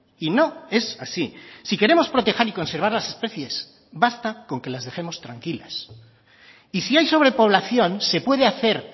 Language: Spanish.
y no es así si queremos proteger y conservar las especies basta con que las dejemos tranquilas y si hay sobrepoblación se puede hacer